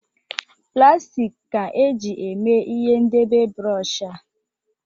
Plastik ka e ji mee ihe ndebe bụrọshị a.